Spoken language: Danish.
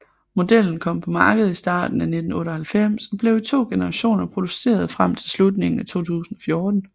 Modellen kom på markedet i starten af 1998 og blev i to generationer produceret frem til slutningen af 2014